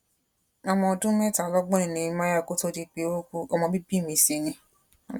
ọmọ ọdún mẹtàlọgbọn ni nehemiah kò tóó di pé ó kú ọmọ bíbí mi sì ni